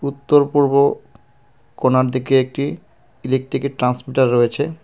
উত্তর-পূর্ব কোনার দিকে একটি ইলেকট্রিকের ট্রান্সমিটার রয়েছে।